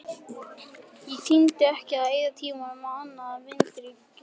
Ég tímdi ekki að eyða tímanum í annað en víndrykkju.